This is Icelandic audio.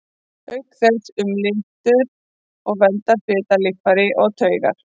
Auk þess umlykur og verndar fitan líffæri og taugar.